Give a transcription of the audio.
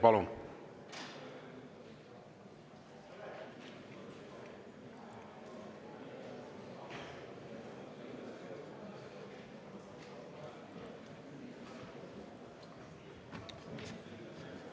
Palun!